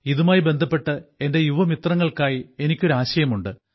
ഇതുമായി ബന്ധപ്പെട്ട് എന്റെ യുവമിത്രങ്ങൾക്കായി എനിക്ക് ഒരു ആശയമുണ്ട്